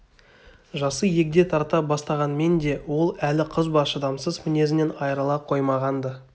жасы егде тарта бастағанмен де ол әлі қызба шыдамсыз мінезінен айырыла қоймаған-ды